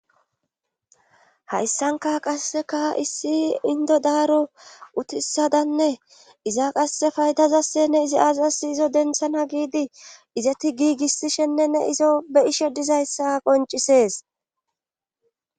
Hayssanka qasseka issi indo daaro utisadanne iza qasse faydazassenne izi aazassi izo denthana giidi izati giigissishennenne izo be ishe dizayssa qoncisees.